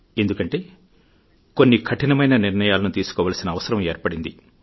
ఎందుకంటే కొన్ని కఠినమైన నిర్ణయాలను తీసుకోవాల్సిన అవసరం ఏర్పడింది